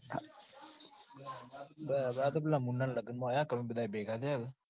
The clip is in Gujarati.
બસ આ તો પેલા મુન્નાના લગનમાં આયા ક અમે બધા ભેગા થ્યા ક